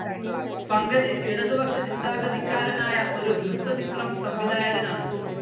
പങ്കജ് ഇടതുപക്ഷ ചിന്താഗതിക്കാരനായ ഒരു ഹ്രസ്വചിത്രം സംവിധായകനാണ്.